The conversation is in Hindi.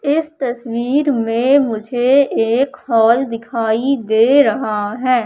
इस तस्वीर में मुझे एक हॉल दिखाई दे रहा है।